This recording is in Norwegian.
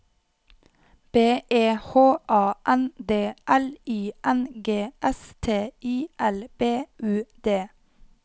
B E H A N D L I N G S T I L B U D